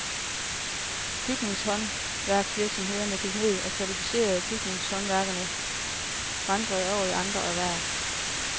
Byggehåndværksvirksomheder gik ned, og kvalificerede byggehåndværkere vandrede over i andre erhverv.